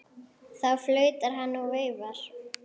Þá flautar hann og veifar.